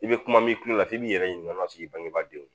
I bɛ kuma min tulon la f'i b'i yɛrɛ ɲininka o la k'i bangebaadenw